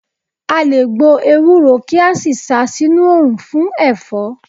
A lè gbo ewúro kí a sì sa sínú oòrùn fún Ẹ̀fọ́.